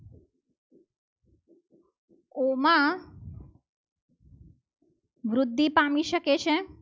ઘુમા વૃદ્ધિ પામી શકે છે.